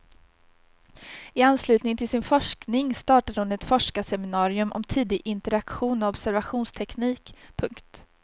I anslutning till sin forskning startade hon ett forskarseminarium om tidig interaktion och observationsteknik. punkt